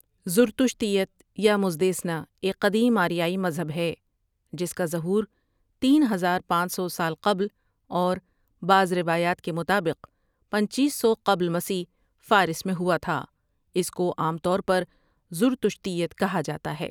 زرتشتیت یا مزدیسنا ایک قدیم آریائی مذہب ہے، جس کا ظہورتین ہزار پانچ سو سال قبل اور بعض روایات کے مطابق پنچیس سو قبل مسیح فارس میں ہواتھا اس کو عام طور پر زرتشتیت کہا جاتا ہے ۔